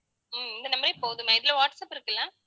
ஹம் இந்த number ஏ போதும் ma'am இதுல வாட்ஸாப் இருக்குல்ல